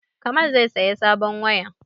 Kamal zai saya sabon waya